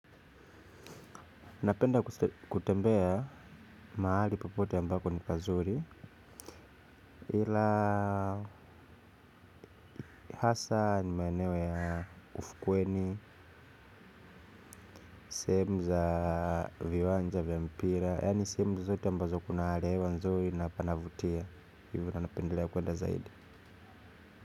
Napenda kutembea mahali popote ambapo ni pazuri ila hasa ni maeneo ya ufukweni, sehemu za viwanja vya mpira. Yani sehemu zote ambazo kuna hali ya hewa nzuri na panavutia hivo ndio napendelea kuenda zaidi.